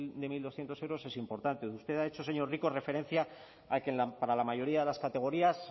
de mil doscientos euros es importante usted ha hecho señor rico referencia a que para la mayoría de las categorías